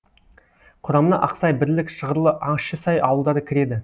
құрамына ақсай бірлік шығырлы ащысай ауылдары кіреді